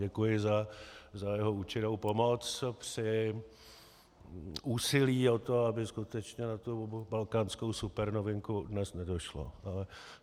Děkuji za jeho účinnou pomoc při úsilí o to, aby skutečně na tu balkánskou supernovinku dnes nedošlo.